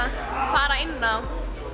fara inn á